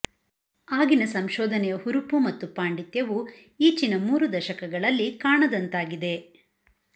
ಆಗಿನ ಸಂಶೋಧನೆಯ ಹುರುಪು ಮತ್ತು ಪಾಂಡಿತ್ಯವು ಈಚಿನ ಮೂರು ದಶಕಗಳಲ್ಲಿ ಕಾಣದಂತಾಗಿದೆ